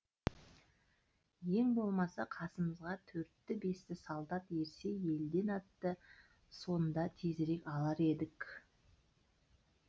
ен болмаса қасымызға төртті бесті солдат ерсе елден атты сонда тезірек алар едік